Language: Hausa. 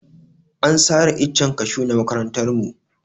An sare icen kashu na makarantar mu.